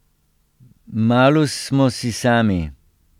Malus smo si sami.